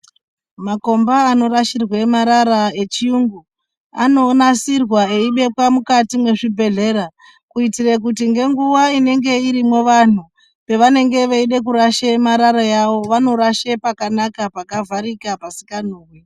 Makomba norashirwa marara echiyungu anonasiirwa eibekwa mukati mezvibhedhlera kutira kuti ngenguva inenge irimo vanhu vanenge veide kurasha marara vanorasha pakanaka pakavharika pasinganhuwi.